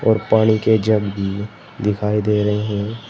और पानी के जग दिखाई दे रहे हैं।